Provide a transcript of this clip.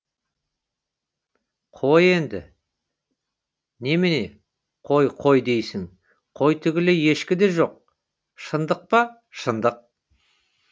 қой енді немене қой қой дейсің қой түгілі ешкі де жоқ шындық па шындық